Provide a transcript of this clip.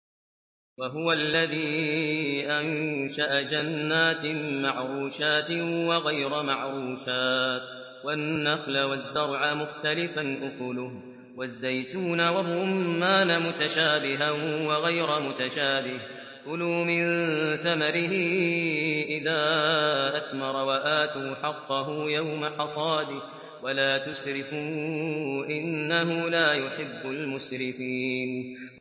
۞ وَهُوَ الَّذِي أَنشَأَ جَنَّاتٍ مَّعْرُوشَاتٍ وَغَيْرَ مَعْرُوشَاتٍ وَالنَّخْلَ وَالزَّرْعَ مُخْتَلِفًا أُكُلُهُ وَالزَّيْتُونَ وَالرُّمَّانَ مُتَشَابِهًا وَغَيْرَ مُتَشَابِهٍ ۚ كُلُوا مِن ثَمَرِهِ إِذَا أَثْمَرَ وَآتُوا حَقَّهُ يَوْمَ حَصَادِهِ ۖ وَلَا تُسْرِفُوا ۚ إِنَّهُ لَا يُحِبُّ الْمُسْرِفِينَ